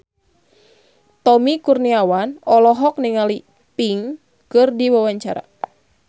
Tommy Kurniawan olohok ningali Pink keur diwawancara